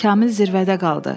Kamil zirvədə qaldı.